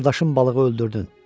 qardaşım balığı öldürdün.